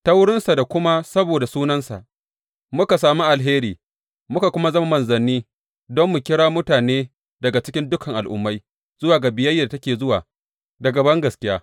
Ta wurinsa da kuma saboda sunansa, muka sami alheri muka kuma zama manzanni don mu kira mutane daga cikin dukan Al’ummai zuwa ga biyayyar da take zuwa daga bangaskiya.